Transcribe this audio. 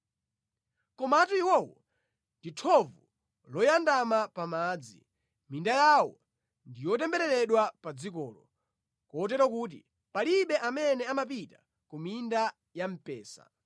“Komatu iwowo ndi thovu loyandama pa madzi; minda yawo ndi yotembereredwa pa dzikolo kotero kuti palibe amene amapita ku minda ya mpesa.